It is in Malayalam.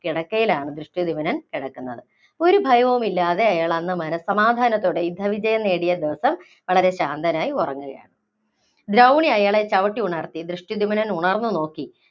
കിടക്കയിലാണ് ദൃഷ്ടധ്യുമ്നൻ കിടക്കുന്നത്. ഒരു ഭയവുമില്ലാതെ, അയാള്‍ അന്ന് മനസ്സമാധാനത്തോടെ യുദ്ധവിജയം നേടിയ ദിവസം വളരെ ശാന്തനായി ഉറങ്ങുകയാണ്. ദ്രൗണി അയാളെ ചവിട്ടി ഉണര്‍ത്തി. ദൃഷ്ടധ്യുമ്നൻ ഉണര്‍ന്ന് നോക്കി